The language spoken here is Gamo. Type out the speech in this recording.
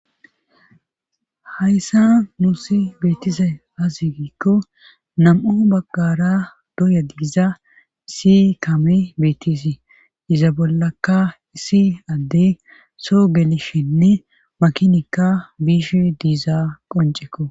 hayssa nuusi beetisay azigiikko nam7o baggara doya giza isi kame beetisi iza bollaka issi addey soo gelishinne makinikka biish diiza qoncekko